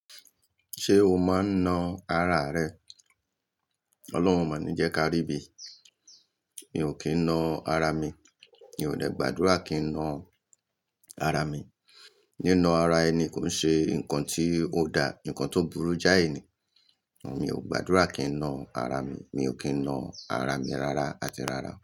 Ṣé o máa ń nà ara rẹ? Ọlọ́run o màní jẹ́ ká rí ibi. Mi ò kí ń nà ara mi. Mi ò dẹ̀ gbàdúrà kí n nà ara mi. Ni nà ara ẹni kò n ṣe nǹkan tí ó dá, nǹkan tó burú jáì nì. Mi ò gbàdúrà kí n nà ara mi. Mi ò kí ń nà ara mi rárá àti rárá.